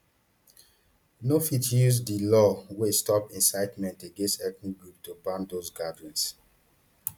no fit use di law wey stop incitement against ethnic groups to ban those gatherings